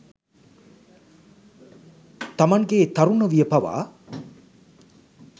තමන්ගේ තරුණ විය පවා